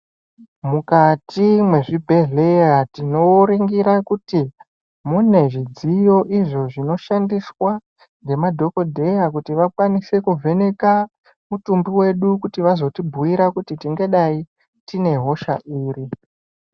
Mukati mezvibhedhleya, tinoringira kuti munezvidziyo, izvo zvinoshandiswa ngemadhokodheya kuti vakwanise kuvheneka mutumbu wedu, kuti vazvotibuyira kuti ndingadayi tinehosha iri.